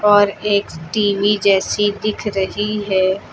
और एक टी_वी जैसी दिख रही हैं।